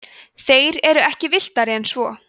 þeir eru ekki villtari en svo